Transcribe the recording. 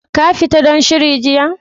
Ka fita dan shiri jiya?